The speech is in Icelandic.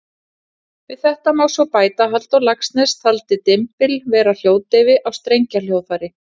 Við þetta má svo bæta að Halldór Laxness taldi dymbil vera hljóðdeyfi á strengjahljóðfæri.